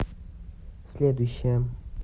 следующая